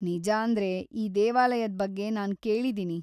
ನಿಜಾಂದ್ರೆ, ಈ ದೇವಾಲಯದ್‌ ಬಗ್ಗೆ ನಾನ್‌ ಕೇಳಿದೀನಿ.